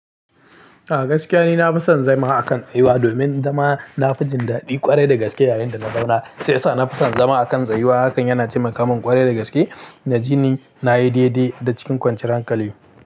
A gaskiya ne na fi son zama a kan tsayuwa domin zama na fi jin daɗi kwarai da gaske yayin da na zauna. Sai sa na fi son zama a kan tsayuwa. Hakan yana taimaka min ƙwarai da gaske na ji ni na yi daidai da cikin kwanciyar hankali.